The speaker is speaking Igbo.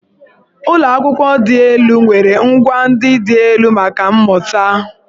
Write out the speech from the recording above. Ụlọ akwụkwọ dị elu nwere ngwà ndị dị elu maka mmụta.